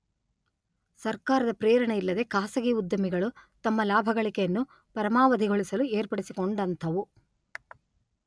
ಸರ್ಕಾರದ ಪ್ರೇರಣೆ ಇಲ್ಲದೆ ಖಾಸಗಿ ಉದ್ಯಮಿಗಳು ತಮ್ಮ ಲಾಭಗಳಿಕೆಯನ್ನು ಪರಮಾವಧಿಗೊಳಿಸಲು ಏರ್ಪಡಿಸಿಕೊಂಡಂಥವು.